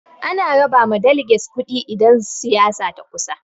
Ana raba ma daleges kuɗi idan siyasa ta kusa.